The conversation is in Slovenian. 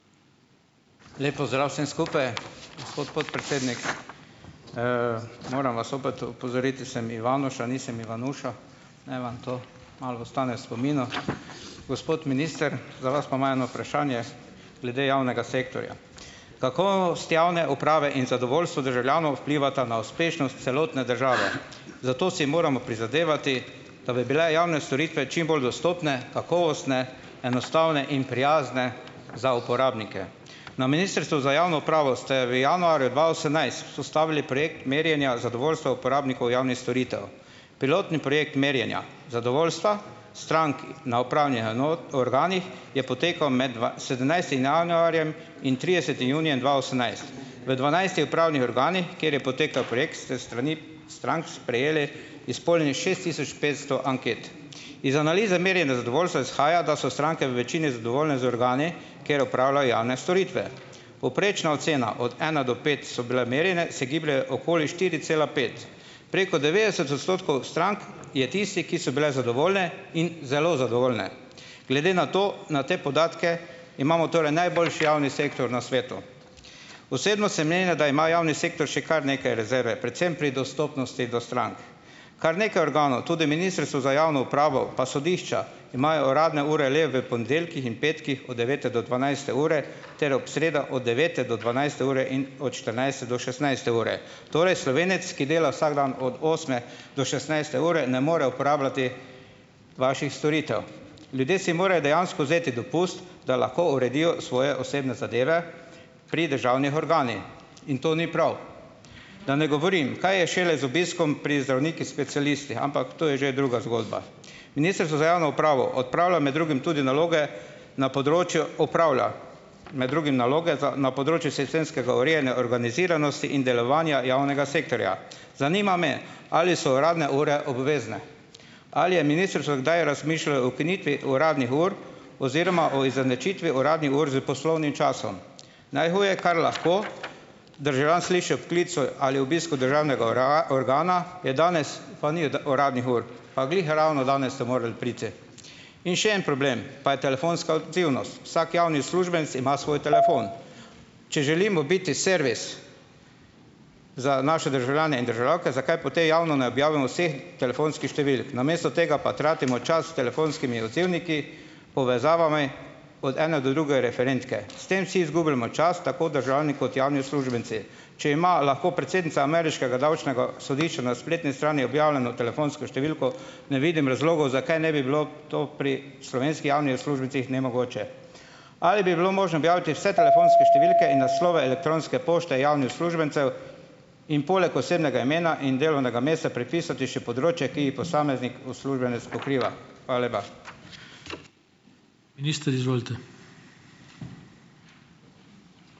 Lep pozdrav vsem skupaj . Gospod podpredsednik , moram vas zopet opozoriti, da sem Ivanuša, nisem Ivanuša, naj vam to malo ostane spominu. Gospod minister, za vas imamo eno vprašanje glede javnega sektorja. Kakovost javne uprave in zadovoljstvo državljanov vplivata na uspešnost celotne države . Zato si moramo prizadevati, da bi bile javne storitve čimbolj dostopne, kakovostne, enostavne in prijazne za uporabnike. Na ministrstvu za javno upravo ste v januarju dva osemnajst vzpostavili projekt merjenja zadovoljstva uporabnikov javnih storitev. Pilotni projekt merjenja zadovoljstva stranki na Upravni organih je potekal med sedemnajstim januarjem in tridesetim junijem dva osemnajst. V dvanajstih upravnih organih, kjer je potekal projekt, s strani strank sprejeli izpolnjenih šest tisoč petsto anket. Iz analize merjenja zadovoljstva izhaja, da so stranke v večini zadovoljne z organi, ker opravljajo javne storitve. Povprečna ocena od ena do pet so bile merjene, se gibljejo okoli štiri cela pet. Preko devetdeset odstotkov strank je tistih, ki so bile zadovoljne in zelo zadovoljne. Glede na to, na te podatke, imamo torej najboljši javni sektor na svetu. Osebno sem mnenja, da ima javni sektor še kar nekaj rezerve, predvsem pri dostopnosti do strank. Kar nekaj organov, tudi ministrstvo za javno upravo pa sodišča, imajo uradne ure le v ponedeljkih in petkih od devete do dvanajste ure, ter ob sredah od devete do dvanajste ure in od štirinajste do šestnajste ure. Torej, Slovenec, ki dela vsak dan od osme do šestnajste ure, ne more uporabljati vaših storitev. Ljudje si morajo dejansko vzeti dopust, da lahko uredijo svoje osebne zadeve pri državnih organih. In to ni prav. Da ne govorim, kaj je šele z obiskom pri zdravnikih specialistih. Ampak to je že druga zgodba. Ministrstvo za javno upravo odpravlja med drugim tudi naloge na področju, opravlja, med drugim naloge za, na področju sistemskega urejanja organiziranosti in delovanja javnega sektorja. Zanima me, ali so uradne ure obvezne. Ali je ministrstvo kdaj razmišljalo ukinitvi uradnih ur oziroma o izenačitvi uradnih ur s poslovnim časom. Najhuje, kar lahko državljan sliši ob klicu ali obisku državnega organa, je danes pa ni uradnih ur. Pa glih ravno danes ste morali priti. In še en problem pa je telefonska odzivnost. Vsak javni uslužbenec ima svoj telefon . Če želimo biti servis za naše državljane in državljanke, zakaj javno ne objavimo vseh telefonskih številk. Namesto tega pa tratimo čas telefonskimi odzivniki , povezavami, od ene do druge referentke. S tem vsi izgubljamo čas, tako državni kot javni uslužbenci. Če ima lahko predsednica ameriškega davčnega sodišča na spletni strani objavljeno telefonsko številko, ne vidim razlogov, zakaj ne bi bilo to pri slovenski javnih uslužbencih nemogoče. Ali bi bilo možno objaviti vse telefonske številke in naslove elektronske pošte javnih uslužbencev in poleg osebnega imena in delovnega mesta pripisati še področje, ki jih posameznik uslužbenec pokriva ? Hvala lepa. Minister, izvolite.